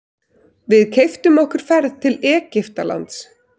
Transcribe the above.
Við keyptum okkur ferð til Egyptalands.